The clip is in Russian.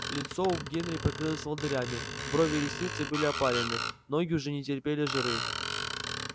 лицо у генри покрылось волдырями брови и ресницы были опалены ноги уже не терпели жары